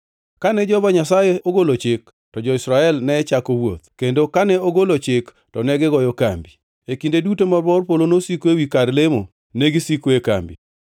Kane Jehova Nyasaye ogolo chik, to jo-Israel ne chako wuoth, kendo kane ogolo chik to negigoyo kambi. E kinde duto ma bor polo nosiko ewi kar lemo, negisiko e kambi.